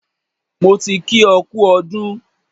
Mo ti kí ọ kú ọdún.